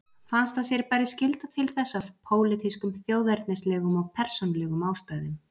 Fannst að sér bæri skylda til þess af pólitískum, þjóðernislegum og persónulegum ástæðum.